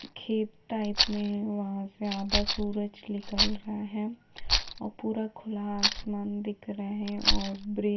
हाँखेत type वहा से आधा सूरज निकल रहा है और पुरा खुला आसमान दिख रहा है और ब्रिज --